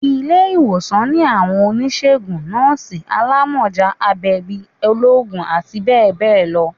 ilé-iwósàn ni awọn onisegún, nọọsi, àlámọjá, àgbẹbí, olóògùn ati bẹbẹ lọ